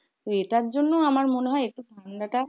এটার জন্য আমার মনে হয় ঠান্ডাটা